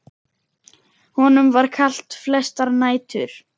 Honum var kalt flestar nætur.